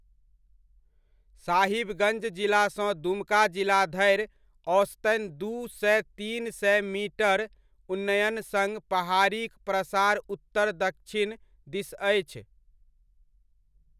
साहिबगञ्ज जिलासँ दुमका जिला धरि औसतन दू सए तीन सए मीटर उन्नयन सङ्ग पहाड़ीक प्रसार उत्तर दच्छिन दिस अछि।